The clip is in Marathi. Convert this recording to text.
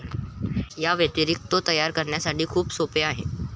याव्यतिरिक्त, तो तयार करण्यासाठी खूप सोपे आहे.